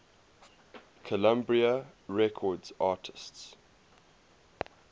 columbia records artists